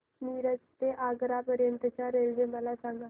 मिरज ते आग्रा पर्यंत च्या रेल्वे मला सांगा